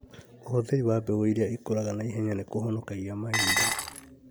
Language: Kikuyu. ũhũthĩri wa mbegu irĩa ikũraga naihenya nĩkũhonokagia mahinda